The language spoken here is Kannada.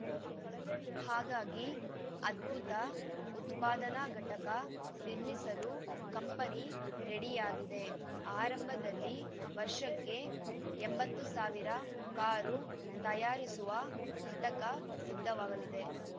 ಹಾಗಾಗಿ ಅದ್ಭುತ ಉತ್ಪಾದನಾ ಘಟಕ ನಿರ್ಮಿಸಲು ಕಂಪನಿ ರೆಡಿಯಾಗಿದೆ ಆರಂಭದಲ್ಲಿ ವರ್ಷಕ್ಕೆ ಎಂಬತ್ತು ಸಾವಿರ ಕಾರು ತಯಾರಿಸುವ ಘಟಕ ಸಿದ್ಧವಾಗಲಿದೆ